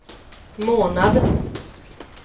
månad